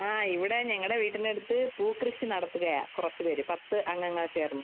ആ ഇവിടെ ഞങ്ങളുടെ വീടിനടുത്ത് പൂ കൃഷി നടത്തുകയാ കുറച്ചു പേര്. പത്ത് അംഗങ്ങള്‍ ചേര്‍ന്ന്.